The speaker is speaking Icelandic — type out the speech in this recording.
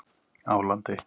Álandi